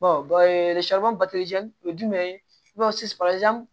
o ye jumɛn ye i b'a fɔ sisan